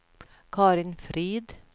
Karin Frid